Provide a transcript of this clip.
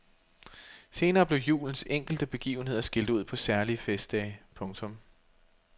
Senere blev julens enkelte begivenheder skilt ud på særlige festdage. punktum